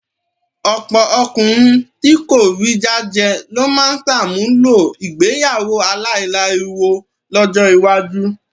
Ọ̀pọ̀ ọkùnrin tí kò rí jájẹ ló máa ṣàmúlò ìgbéyàwó aláìláriwo lọ́jọ́ iwájú.